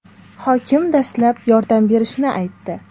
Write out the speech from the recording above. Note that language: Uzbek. Hokim dastlab yordam berishini aytdi.